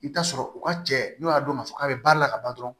I bɛ taa sɔrɔ u ka cɛ n'u y'a dɔn k'a fɔ k'a bɛ baara la ka ban dɔrɔn